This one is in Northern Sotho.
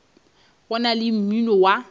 go na le mmino wa